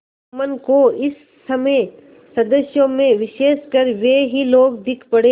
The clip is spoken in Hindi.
जुम्मन को इस समय सदस्यों में विशेषकर वे ही लोग दीख पड़े